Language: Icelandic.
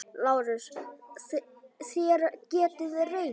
LÁRUS: Þér getið reynt.